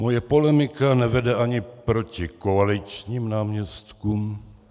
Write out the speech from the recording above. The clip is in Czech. Moje polemika nevede ani proti koaličním náměstkům.